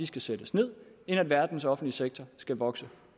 skal sættes ned end at verdens største offentlige sektor skal vokse